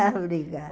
Ah, obrigada.